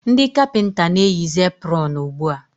ndị kapịnta na-eyizi epụrọn ugbua.